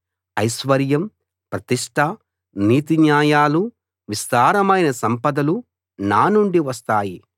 ఐశ్వర్యం ప్రతిష్ఠ నీతి న్యాయాలు విస్తారమైన సంపదలు నా నుండి వస్తాయి